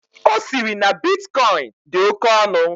Osiri na bitcoin dị oke ọnụ.